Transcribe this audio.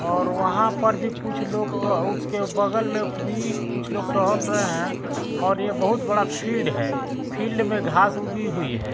और वहां पर भी कुछ लोग ट उसके बगल में भी कुछ लोग टहल रहे हैं और ये बहुत बड़ा फील्ड है फील्ड में घास उगी हुई है।